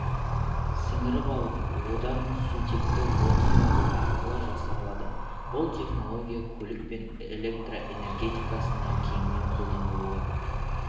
сіңіріп алып одан сутекті отын алу арқылы жасалады бұл технология көлік пен электрэнергетикасында кеңінен қолданылуы